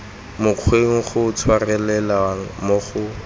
mokgweng go tshwarelelwa mo go